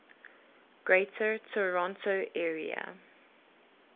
greater toronto area